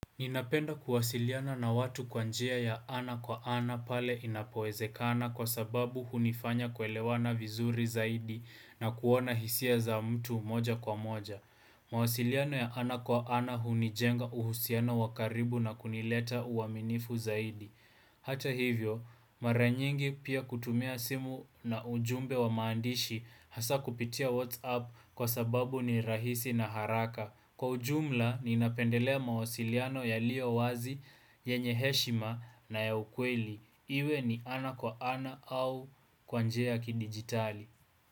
Ninapenda kuwasiliana na watu kwa njia ya ana kwa ana pale inapowezekana kwa sababu hunifanya kuelewana vizuri zaidi na kuona hisia za mtu moja kwa moja. Mawasiliano ya ana kwa ana hunijenga uhusiano wa karibu na kunileta uaminifu zaidi. Hata hivyo, mara nyingi pia kutumia simu na ujumbe wa maandishi hasa kupitia WhatsApp kwa sababu ni rahisi na haraka. Kwa ujumla, ninapendelea mawasiliano yaliyo wazi, yenye heshima na ya ukweli. Iwe ni ana kwa ana au kwa njia ya kidigitali.